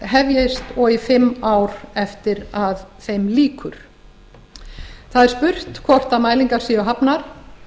hefjist og í fimm ár eftir að þeim lýkur það er spurt hvort mælingar séu hafnar